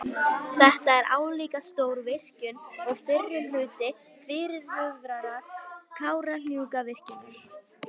Þetta er álíka stór virkjun og fyrri hluti fyrirhugaðrar Kárahnjúkavirkjunar.